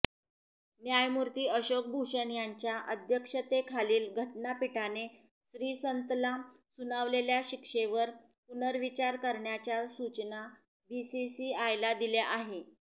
न्यायमूर्ती अशोक भूषण यांच्या अध्यक्षतेखालील घटनापीठाने श्रीसंतला सुनावलेल्या शिक्षेवर पुनर्विचार करण्याच्या सूचना बीसीसीआयला दिल्या आहे